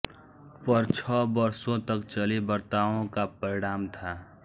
पर छह वर्षों तक चली वार्ताओं का परिणाम था